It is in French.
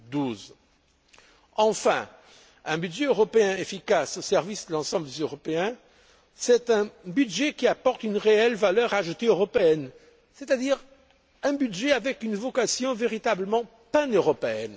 2012. Enfin, un budget européen efficace au service de l'ensemble des Européens, c'est un budget qui apporte une réelle valeur ajoutée européenne, c'est à dire un budget à vocation véritablement paneuropéenne.